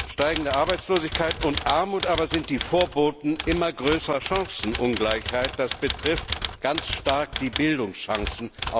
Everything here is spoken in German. Steigende Arbeitslosigkeit und Armut aber sind die Vorboten immer größerer Chancenungleichheit. Das betrifft ganz stark die Bildungschancen.